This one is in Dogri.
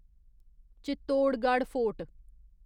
चित्तोड़गढ़ फोर्ट